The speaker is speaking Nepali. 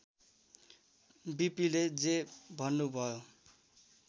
वीपीले जे भन्नुभयो